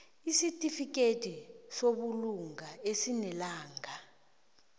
isitifikedi sobulunga esinelanga